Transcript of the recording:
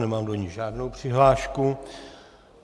Nemám do ní žádnou přihlášku.